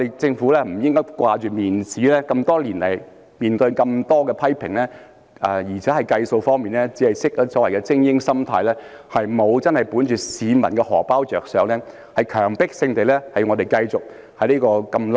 政府不應只着重面子，這麼多年來，面對這麼多批評，而且在計算方面，也只是本着所謂的精英心態，沒有真正為市民的"荷包"着想，強迫市民在這麼"爛"的制度裏生存。